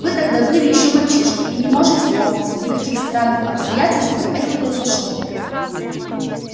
вы тогда были ещё мальчишкой и не можете помнить при каких странных обстоятельствах это произошло